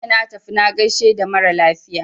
Jiya na tafi na gaishe da mara lafiya.